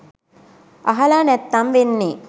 අහලා නැත්නම් වෙන්නේ